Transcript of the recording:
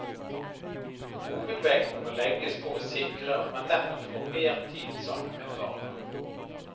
Hovedvekten må legges på å sikre at man nettopp får mer tid sammen med barna.